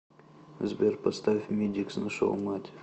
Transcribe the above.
сбер поставь мидикс нашел мать